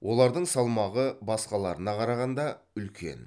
олардың салмағы басқаларына қарағанда үлкен